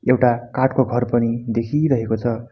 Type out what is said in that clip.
एउटा काठको घर पनि देखिरहेको छ।